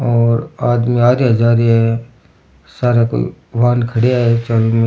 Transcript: और आदमी आ रिया जा रिया है सारे कोई वाहन खड़िया है चारो मेर।